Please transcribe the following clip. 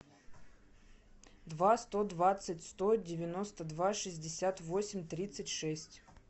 два сто двадцать сто девяносто два шестьдесят восемь тридцать шесть